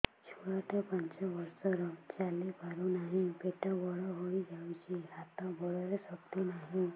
ଛୁଆଟା ପାଞ୍ଚ ବର୍ଷର ଚାଲି ପାରୁ ନାହି ପେଟ ବଡ଼ ହୋଇ ଯାଇଛି ହାତ ଗୋଡ଼ରେ ଶକ୍ତି ନାହିଁ